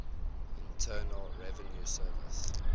internal revenue service